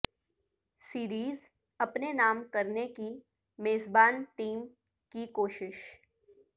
series اپنے نام کرنے کی میزبان ٹیم کی کوشش